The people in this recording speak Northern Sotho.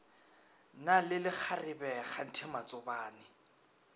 na le lekgarebe kganthe matsobane